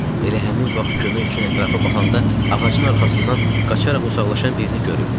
Elə həmin vaxt kömək üçün ətrafa baxanda ağacın arxasından qaçaraq uzaqlaşan birini görüb.